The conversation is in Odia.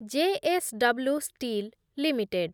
J S W steel limited